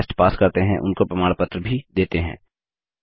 जो online test pass करते हैं उनको प्रमाण पत्र भी देते हैं